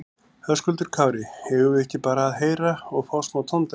Höskuldur Kári: Eigum við ekki bara að heyra og fá smá tóndæmi?